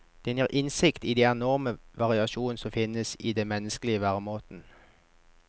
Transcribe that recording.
Den gir innsikt i de enorme variasjonene som finnes i den menneskelige væremåten.